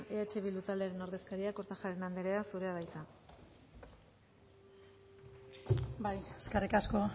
eh bildu taldearen ordezkaria kortajarena anderea zurea da hitza bai eskerrik asko